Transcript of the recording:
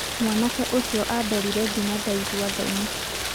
mwanake ũcio andorire nginya ndaigua thonĩ.